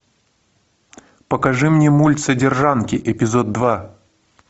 покажи мне мульт содержанки эпизод два